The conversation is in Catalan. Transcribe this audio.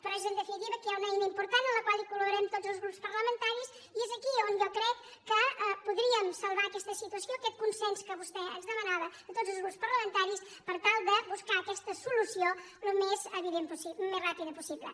però és en definitiva que hi ha una eina important en la qual coltaris i és aquí on jo crec que podríem salvar aquesta situació aquest consens que vostè ens demanava a tots els grups parlamentaris per tal de buscar aquesta solució al més ràpidament possible